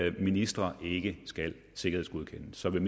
at ministre ikke skal sikkerhedsgodkendes så vil